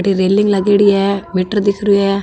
अठे रैलिंग लागेड़ी है मीटर दिख रिहो है।